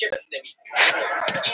Hinn hristi höfuðið.